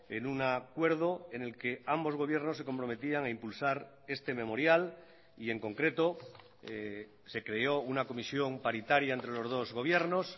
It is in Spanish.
en un acuerdo en el que ambos gobiernos se comprometían a impulsar este memorial y en concreto se creó una comisión paritaria entre los dos gobiernos